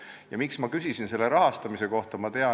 Ja miks ma küsisin selle rahastamise kohta?